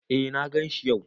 Eh na ganshi yau.